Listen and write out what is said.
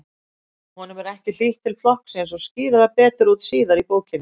Honum er ekki hlýtt til flokksins og skýrir það betur síðar í bókinni.